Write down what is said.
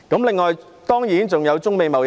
另外，當然還有中美貿易戰。